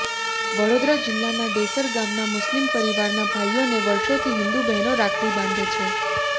વડોદરા જિલ્લાના ડેસર ગામના મુસ્લિમ પરિવારના ભાઇઓને વર્ષોથી હિન્દુ બહેનો રાખડી બાંધે છે